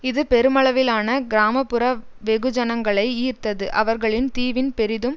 இது பெருமளவிலான கிராம புற வெகுஜனங்களை ஈர்த்தது அவர்கள் தீவின் பெரிதும்